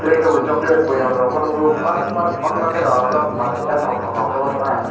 yekebo chocolate boyong rok pho nukjakgo bangma bangma kheno manui jatok thotok khe nuklaha.